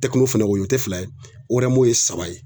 Tɛkino fɛnɛ o ye o te fila ye orɛmo ye saba ye